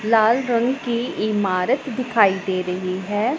लाल रंग की इमारत दिखाई दे रही है।